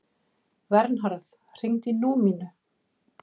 Vernharð, hringdu í Númínu.